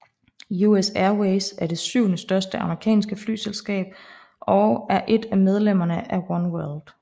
US Airways er det syvende største amerikanske flyselskab og er et af medlemmerne af One World